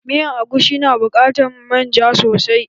Miyan agushi na buƙatan manja sosai.